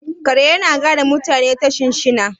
kare yana gane mutane ta shinshina